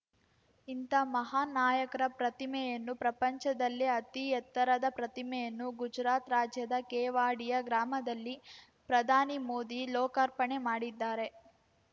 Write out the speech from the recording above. ಇಂಥ ಮಹಾನ್‌ ನಾಯಕರ ಪ್ರತಿಮೆಯನ್ನು ಪ್ರಪಂಚದಲ್ಲಿ ಅತಿ ಎತ್ತರವಾದ ಪ್ರತಿಮೆಯನ್ನು ಗುಜರಾತ್‌ ರಾಜ್ಯದ ಕೆವಾಡಿಯಾ ಗ್ರಾಮದಲ್ಲಿ ಪ್ರಧಾನಿ ಮೋದಿ ಲೋಕಾರ್ಪಣೆ ಮಾಡಿದ್ದಾರೆ